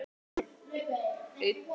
Og leikur einn.